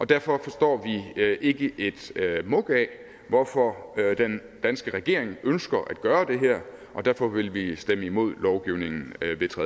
derfor forstår vi ikke et muk af hvorfor den danske regering ønsker at gøre det her og derfor vil vi stemme imod lovgivningen